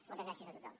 moltes gràcies a tothom